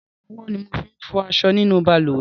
Rárá, owó ni mo fi n fo aso nínú balùwè